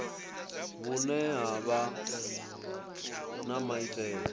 vhune ha vha na maitele